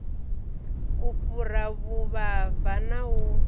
u fhura vhuvhava na u